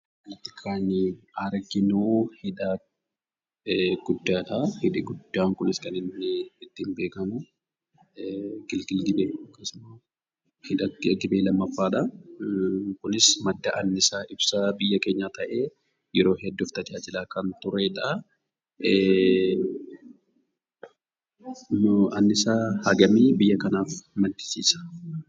Kan arginuu, hidha guddaadhaa. Hidhi guddaan Kunis kan inni ittiin beekamu gilgal gibee yookaan immoo hidha gibee lammaffaa dhaa. Inni kunis madda anniisaa ibsaa biyya keenyaa ta'ee yeroo hedduu kan tajaajilaa kan turedhaa. Anniisaa hangamii biyya kanaaf maddisiisa?